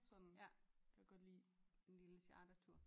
Sådan jeg kan godt lide en lille chartertur